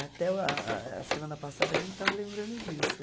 Até a a a semana passada a gente estava lembrando disso.